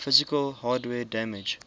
physical hardware damage